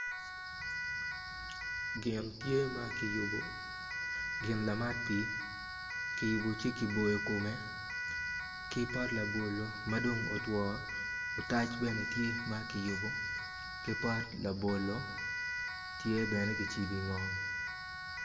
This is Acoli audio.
Gin tye ma kiyubo gin lamat pii kiyubo ci kiboyo kome ki pot labolo madong otwo otac bene tye ma kiyubo ki pot labolo tye bene kicibo i ngom.